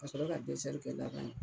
Kasɔrɔ ka kɛ laban ye